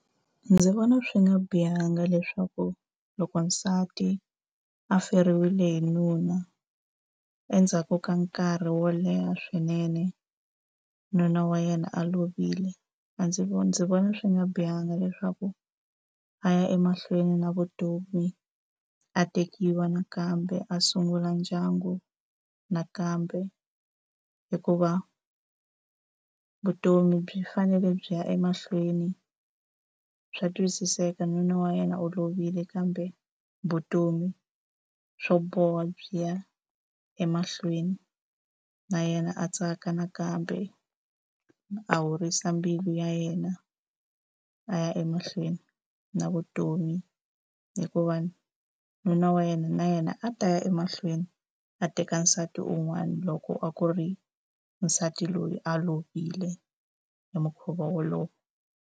Ndzi vona swi nga bihanga leswaku loko nsati a feriwile hi nuna endzhaku ka nkarhi wo leha swinene, nuna wa yena a lovile, a ndzi ndzi vona swi nga bihanga leswaku a ya emahlweni na vutomi, a tekiwa nakambe, a sungula ndyangu nakambe. Hikuva vutomi byi fanele byi ya emahlweni. Swa twisiseka, nuna wa yena u lovile kambe vutomi swo boha byi ya emahlweni. Na yena a tsaka nakambe, a horisa mbilu ya yena, a ya emahlweni na vutomi. Hikuva nuna wa yena na yena a ta ya emahlweni a teka nsati un'wana loko a ku ri nsati loyi a lovile hi mukhuva wolowo.